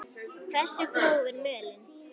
Hversu gróf er mölin?